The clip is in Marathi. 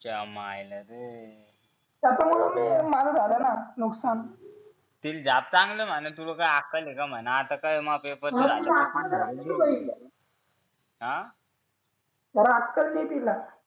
च्यामायला रे त्याच्यामुळे मी माझं झालं नुकसान चांगलं तिला झाप चांगल म्हणा तुला अक्कल हाये का म्हणे आता काय पेपरचा अक्कल दे तीला हा अक्कल दे तीला